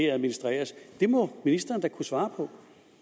administreres det må ministeren da kunne svare på